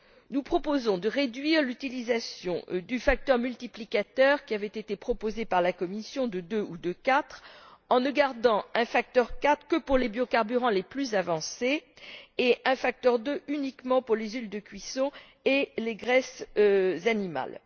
Nous proposons de réduire l'utilisation du facteur multiplicateur qui avait été proposé par la Commission de deux ou de quatre, en ne gardant un facteur quatre que pour les biocarburants les plus avancés et un facteur deux uniquement pour les huiles de cuisson et les graisses animales.